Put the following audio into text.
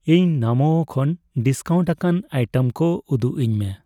ᱤᱧ ᱱᱟᱢᱳ ᱠᱷᱚᱱ ᱰᱤᱥᱠᱟᱣᱩᱱᱴ ᱟᱠᱟᱱ ᱟᱭᱴᱮᱢ ᱠᱚ ᱩᱫᱩᱜᱟᱹᱧ ᱢᱮ ᱾